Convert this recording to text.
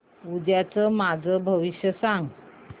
उद्याचं माझं भविष्य सांग